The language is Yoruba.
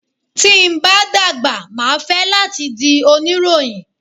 Tí n bá dàgbà máa fẹ́ láti di oníròyìn.